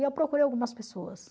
E eu procurei algumas pessoas.